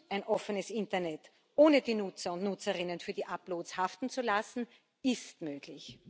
ein offenes Internet, ohne die Nutzer und Nutzerinnen für die Uploads haften zu lassen, ist möglich.